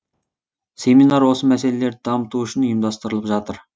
семинар осы мәселелерді дамыту үшін ұйымдастырылып жатыр